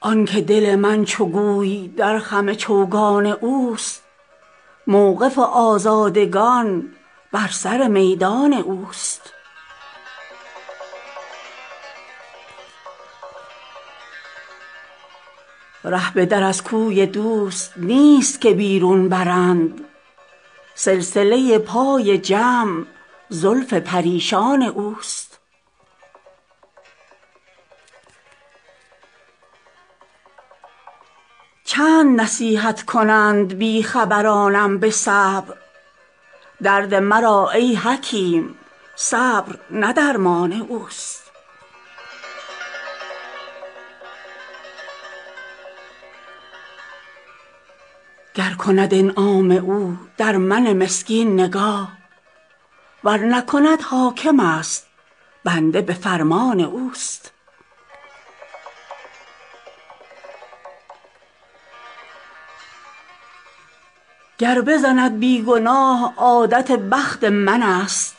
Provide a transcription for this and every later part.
آن که دل من چو گوی در خم چوگان اوست موقف آزادگان بر سر میدان اوست ره به در از کوی دوست نیست که بیرون برند سلسله پای جمع زلف پریشان اوست چند نصیحت کنند بی خبرانم به صبر درد مرا ای حکیم صبر نه درمان اوست گر کند انعام او در من مسکین نگاه ور نکند حاکمست بنده به فرمان اوست گر بزند بی گناه عادت بخت منست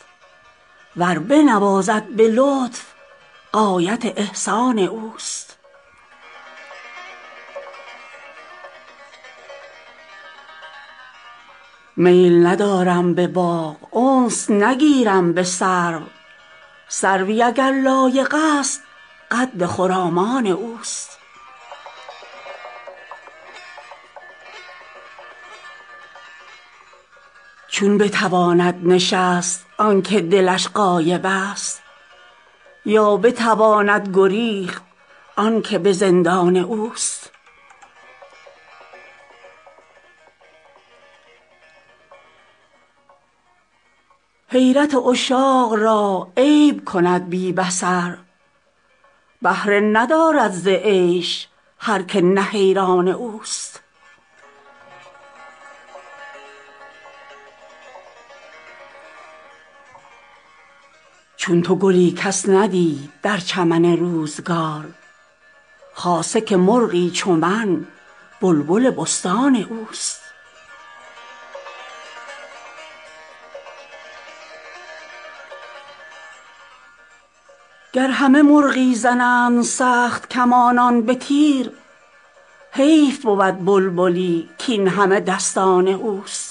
ور بنوازد به لطف غایت احسان اوست میل ندارم به باغ انس نگیرم به سرو سروی اگر لایقست قد خرامان اوست چون بتواند نشست آن که دلش غایبست یا بتواند گریخت آن که به زندان اوست حیرت عشاق را عیب کند بی بصر بهره ندارد ز عیش هر که نه حیران اوست چون تو گلی کس ندید در چمن روزگار خاصه که مرغی چو من بلبل بستان اوست گر همه مرغی زنند سخت کمانان به تیر حیف بود بلبلی کاین همه دستان اوست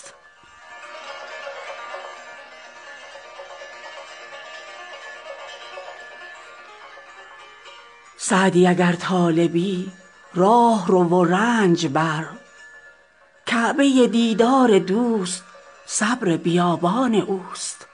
سعدی اگر طالبی راه رو و رنج بر کعبه دیدار دوست صبر بیابان اوست